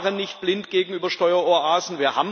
Wir waren nicht blind gegenüber Steueroasen.